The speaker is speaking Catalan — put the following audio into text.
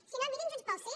si no mirin junts pel sí